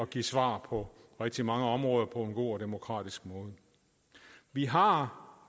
give svar på rigtig mange områder på en god og demokratisk måde vi har